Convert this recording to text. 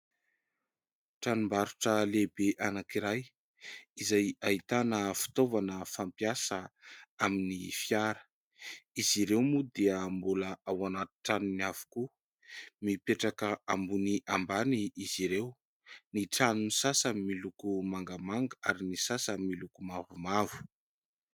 Tranom-barotra lehibe anankiray izay ahitana fitaovana fampiasa amin'ny fiara. Izy ireo moa dia mbola ao anaty tranony avokoa. Mipetraka ambony ambany izy ireo. Ny tranon'ny sasany miloko mangamanga ary ny sasany miloko mavomavo.